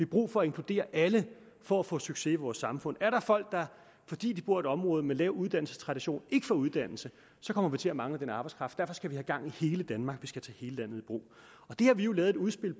brug for at inkludere alle for at få succes i vores samfund er der folk der fordi de bor i et område med lav uddannelsestradition ikke får uddannelse kommer vi til at mangle den arbejdskraft derfor skal vi have gang i hele danmark vi skal tage hele landet i brug det har vi jo lavet et udspil